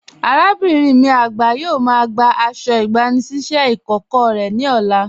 Arábinrin mi agba yóò má gbà àṣọ̀ ìgbànisíṣẹ̀ ikókọ̀ rẹ ni ọ̀là.